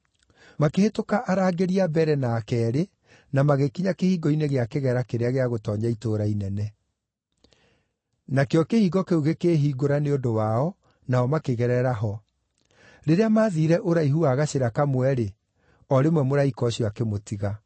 Makĩhĩtũka arangĩri a mbere na a keerĩ na magĩkinya kĩhingo-inĩ gĩa kĩgera kĩrĩa gĩa gũtoonya itũũra inene. Nakĩo kĩhingo kĩu gĩkĩĩhingũra nĩ ũndũ wao, nao makĩgerera ho. Rĩrĩa maathiire ũraihu wa gacĩra kamwe-rĩ, o rĩmwe mũraika ũcio akĩmũtiga.